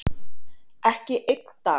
Ekki einn dag.